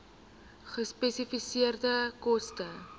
gespesifiseerde koste